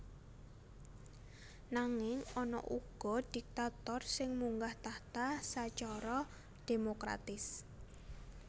Nanging ana uga diktator sing munggah tahta sacara démokratis